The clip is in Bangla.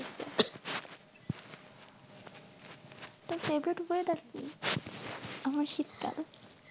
তোর favorite weather কি? আমার শীতকাল।